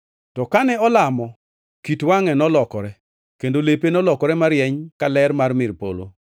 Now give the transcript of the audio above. To kane olamo, kit wangʼe nolokore, kendo lepe nolokore marieny ka ler mar mil polo.